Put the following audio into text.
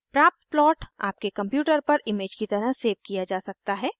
प्राप्त प्लॉट आपके कंप्यूटर पर इमेज की तरह सेव किया जा सकता है